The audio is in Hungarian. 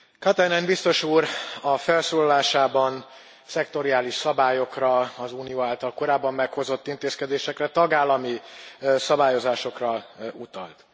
Katainen biztos úr a felszólalásában szektoriális szabályokra, az Unió által korábban meghozott intézkedésekre, tagállami szabályozásokra utalt.